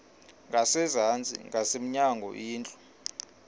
ngasezantsi ngasemnyango indlu